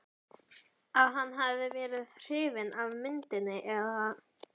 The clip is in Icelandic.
að hann hafi verið hrifinn af myndinni eða.